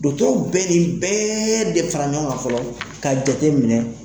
bɛ nin bɛɛ de fara ɲɔgɔn kan fɔlɔ ka jateminɛ.